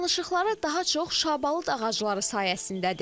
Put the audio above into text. Dolanışıqları daha çox şabalıd ağacları sayəsindədir.